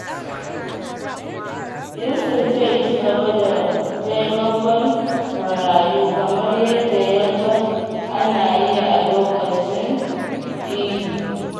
Yusuf zai ci gaba da taimakon marayu kamar yadda ya ga ana yi a lokacin Idi.